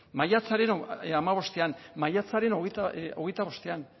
maiatzaren hamabostean maiatzaren hogeita hogeita bostean